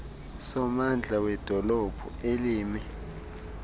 sommandla wedolophu elimi